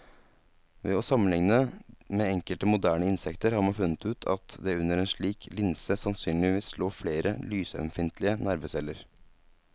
Ved å sammenligne med enkelte moderne insekter har man funnet ut at det under en slik linse sannsynligvis lå flere lysømfintlige nerveceller.